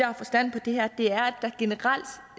har forstand på det her